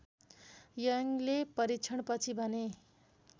यङले परीक्षणपछि भने